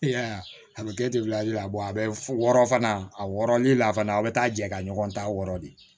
I y'a ye a bɛ kɛ a bɛ wɔɔrɔ fana a wɔɔrɔlen la fana a bɛ taa jɛ ka ɲɔgɔn ta wɔrɔ de